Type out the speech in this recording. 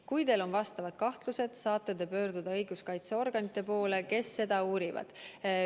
Kui teil on vastavad kahtlused, saate pöörduda õiguskaitseorganite poole, kes seda uurivad.